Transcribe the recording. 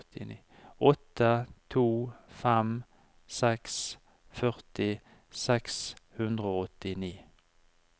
åtte to fem seks førti seks hundre og åttini